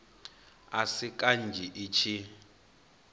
a si kanzhi i tshi